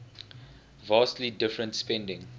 vastly different spending